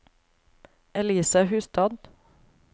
Elise Hustad